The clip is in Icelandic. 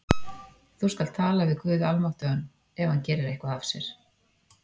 Þú skalt tala við guð almáttugan, ef hann gerir eitthvað af sér?